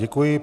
Děkuji.